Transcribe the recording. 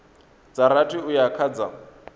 dza rathi uya kha dza